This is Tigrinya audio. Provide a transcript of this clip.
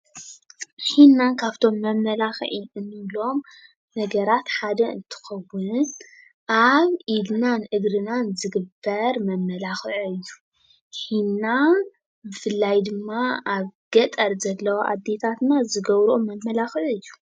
ሒና ካፍቶም መመላክዒ እንብሎም ነገራት ሓደ እንትኾውን ኣብ ኢድናን እግርናን ዝግበር መመላኽዒ እዩ። ሒና ብፍላይ ድማ ኣብ ገጠር ዘለዋ ኣዴታትና ዝገብረኦ መመላኽዒ እዩ።